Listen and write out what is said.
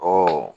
Ɔ